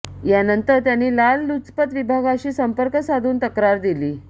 यानंतर त्यांनी लाचलुचपत विभागाशी संपर्क साधून तक्रार दिली